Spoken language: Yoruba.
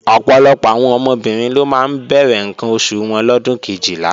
Ọ̀pọ̀lọpọ̀ àwọn ọmọbìnrin ló máa ń bẹ̀rẹ̀ ǹkan oṣù wọn lọ́dún Kejìlá